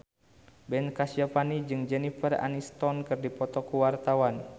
Ben Kasyafani jeung Jennifer Aniston keur dipoto ku wartawan